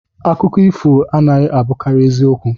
Akụkọ ifo anaghị abụkarị ezi okwu